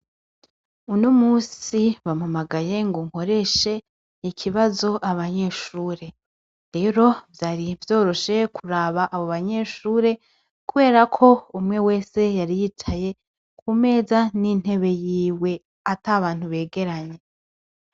Uno musi bamamagaye ngo nkoreshe ikibazo abanyeshure, rero vyari vyoroshe kuraba abo banyeshure, kubera ko umwe wese yariyicaye ku meza n'intebe yiwe ata bantu begeranye.